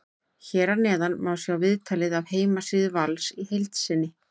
Hér að neðan má sjá viðtalið af heimasíðu Vals í heild sinni.